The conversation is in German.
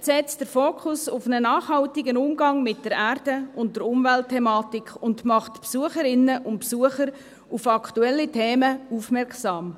Das Projekt setzt den Fokus auf einen nachhaltigen Umgang mit der Erde und der Umweltthematik und macht Besucherinnen und Besucher auf aktuelle Themen aufmerksam.